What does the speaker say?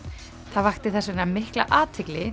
það vakti þess vegna mikla athygli